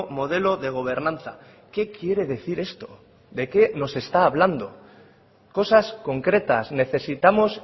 modelo de gobernanza qué quiere decir esto de qué nos está hablando cosas concretas necesitamos